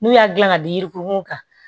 N'u y'a dilan ka di yirunw kan